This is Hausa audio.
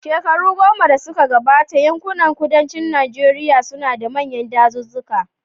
Shekaru goma da suka gabata, yankunan kudancin Najeriya suna da manyan dazuzzuka.